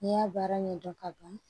N'i y'a baara ɲɛdɔn ka ban